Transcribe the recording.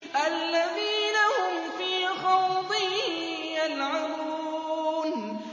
الَّذِينَ هُمْ فِي خَوْضٍ يَلْعَبُونَ